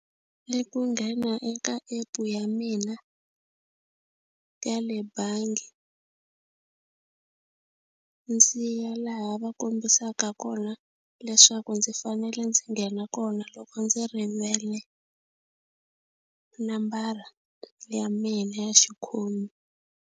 I ku nghena eka app-u ya mina ya le bangi ndzi ya laha va kombisaka kona leswaku ndzi fanele ndzi nghena kona loko ndzi rivele nambara ya mina ya xikhomi.